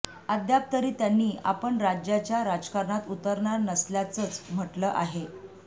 अद्याप तरी त्यांनी आपण राज्याच्या राजकारणात उतरणार नसल्याचंच म्हटलं आहे